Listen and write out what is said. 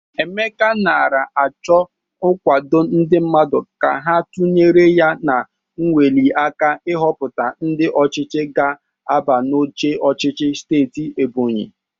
Emeka nara achọ nkwado ndị mmadụ ka a tunyere ya n'nweliaka ihọpụta ndị ọchịchị ga-aba n'oche ọchịchị steeti Ebonyi.